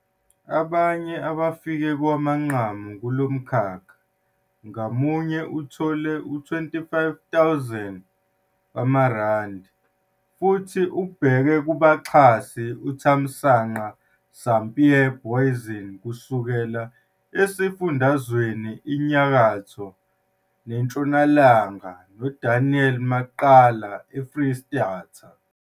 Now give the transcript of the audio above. Abanye abafike kowamanqamu kulo mkhakha ngamunye uthole u-R25 000 futhi ubheke kubaxhasi uThamsanqa Sampie Booizene kusukela eSifundazweni iNyakatho neNtshonalanga no-Daniel Maqala eFreystata.